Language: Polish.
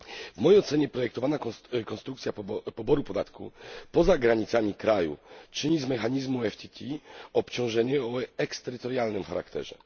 W mojej ocenie projektowana konstrukcja poboru podatku poza granicami kraju czyni z mechanizmu PTF obciążenie o eksterytorialnym charakterze.